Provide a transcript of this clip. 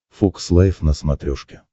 фокс лайф на смотрешке